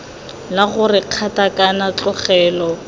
la gore kgato kana tlogelo